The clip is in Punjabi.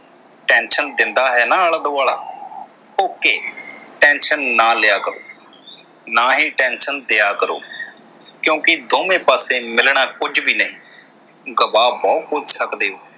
tension ਦਿੰਦਾ ਹੈ ਨਾ ਆਲਾ ਦੁਆਲਾ okay tension ਨਾ ਲਿਆ ਕਰੋ ਨਾ ਹੀ tension ਦਿਆ ਕਰੋ। ਕਿਉਕਿ ਦੋਵੇ ਪਾਸੇ ਮਿਲਣਾ ਕੁਝ ਵੀ ਨਹੀਂ ਗਵਾ ਬਹੁਤ ਕੁਝ ਸਕਦੇ ਹੋ।